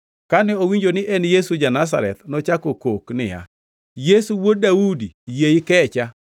Kane owinjo ni en Yesu ja-Nazareth, nochako kok niya, “Yesu, Wuod Daudi, yie ikecha!”